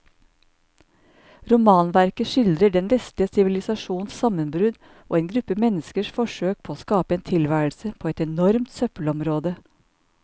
Romanverket skildrer den vestlige sivilisasjons sammenbrudd og en gruppe menneskers forsøk på å skape en tilværelse på et enormt søppelområde.